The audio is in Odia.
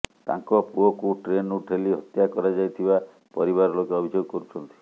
ତାଙ୍କ ପୁଅକୁ ଟ୍ରେନରୁ ଠେଲି ହତ୍ୟା କରାଯାଇଥିବା ପରିବାର ଲୋକେ ଅଭିଯୋଗ କରୁଛନ୍ତି